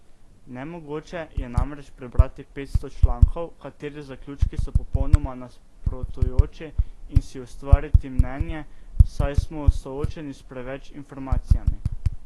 Nemogoče je namreč prebrati petsto člankov, katerih zaključki so popolnoma nasprotujoči, in si ustvariti mnenje, saj smo soočeni s preveč informacijami.